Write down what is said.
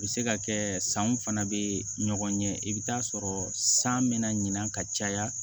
U bɛ se ka kɛ sanw fana bɛ ɲɔgɔn ɲɛ i bɛ taa sɔrɔ san bɛna ɲina ka caya